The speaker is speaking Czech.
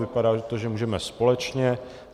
Vypadá to, že můžeme společně.